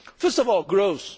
First of all, growth.